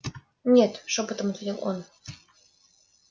нет шёпотом ответил он